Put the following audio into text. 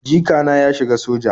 Jikana ya shiga soja